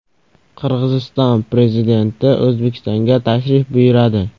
Qirg‘iziston prezidenti O‘zbekistonga tashrif buyuradi.